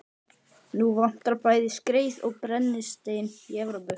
Nú vantar bæði skreið og brennistein í Evrópu.